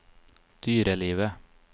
dyrelivet